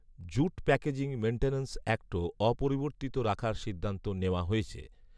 jute packaging maintenance অ্যাক্টও অপরিবর্তিত রাখার সিদ্ধান্ত নেওয়া হয়েছে